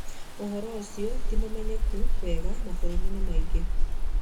Ũhoro ũcio ndũrĩ ũmenyekete wega mabũrũri-inĩ mangĩ.